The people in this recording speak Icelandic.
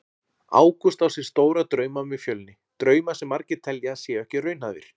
Ágúst á sér stóra drauma með Fjölni, drauma sem margir telja að séu ekki raunhæfir.